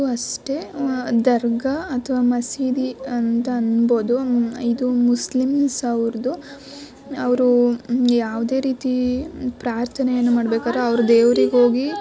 ಇದು ಅಷ್ಟೇ ದರ್ಗಾ ಅಥವಾ ಮಸೀದಿ ಅಂತ ಹೇಳ್ಬಹುದು.ಇದು ಮುಸ್ಲಿಮ್ಸ್ ಅವರ್ದು ಅವ್ರು ಯಾವದೇ ರೀತಿ ಪ್ರಾರ್ಥನೆ ಮಾಡಬೇಕಾದ್ರು ಅವ್ರ್ ದೇವರ್ಗೆ ಹೋಗಿ --